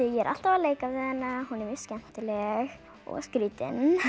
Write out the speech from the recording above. er alltaf að leika við hana hún er mjög skemmtileg og skrítin